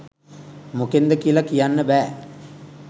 මොකෙන්ද කියල කියන්න බෑ.